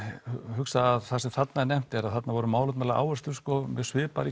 hugsa að það sem þarna er nefnt er að þarna voru málefnalegar áherslur mjög svipaðar í